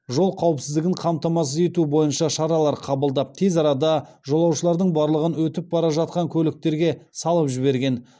жол қауіпсіздігін қамтамасыз ету бойынша шаралар қабылдап тез арада жолаушылардың барлығын өтіп бара жатқан көліктерге салып жіберген